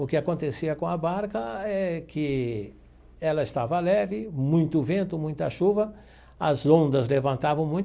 O que acontecia com a barca é que ela estava leve, muito vento, muita chuva, as ondas levantaram muito.